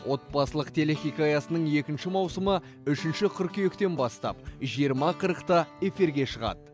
отбасылық телехикаясының екінші маусымы үшінші қыркүйектен бастап жиырма қырықта эфирге шығады